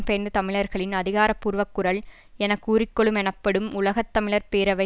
பெயர்ந்த தமிழர்களின் அதிகாரபூர்வக் குரல் எனக்கூறிக்கொள்ளும் எனப்படும் உலக தமிழர் பேரவை